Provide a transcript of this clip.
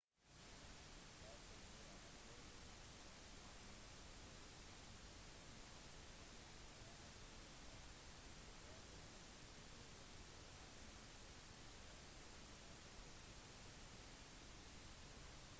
dersom du er bosatt i en by med forskjellige normer rundt drikke bør du forsøke barer eller puber i nabolag der du sjelden befinner deg